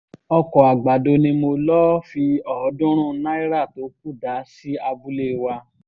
ọkọ̀ àgbàdo ni mo lọ́ọ́ fi ọ̀ọ́dúnrún náírà tó kù dá sí abúlé wa